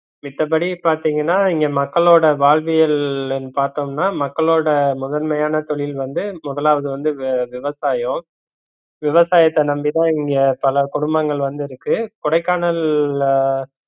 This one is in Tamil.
மித்தபடி பாத்தீங்கனா இங்க மக்களோட வாழ்வியல்னு பாத்தோம்னா மக்களோட முதன்மையான தொழில் வந்து முதலாவது வந்து வி~ விவசாயம் விவசாயத்த நம்பிதா இங்க பல குடும்பங்கள் வந்து இருக்கு கொடைக்கானல்ல